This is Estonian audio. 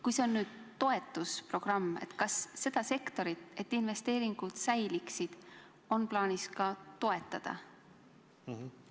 Kui kõnealune programm on toetusprogramm, siis kas on plaanis ka seda sektorit investeeringute säilimiseks toetada?